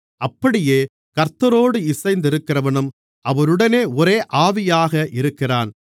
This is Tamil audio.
அப்படியே கர்த்தரோடு இணைந்திருக்கிறவனும் அவருடனே ஒரே ஆவியாக இருக்கிறான்